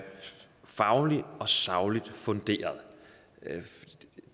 fagligt og sagligt funderet